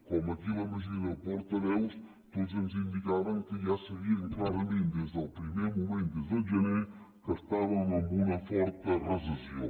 com aquí la majoria de portaveus tots ens indicaven que ja sabien clarament des del primer moment des del gener que estàvem en una forta recessió